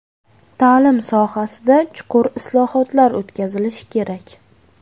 Ta’lim sohasida chuqur islohotlar o‘tkazilishi kerak.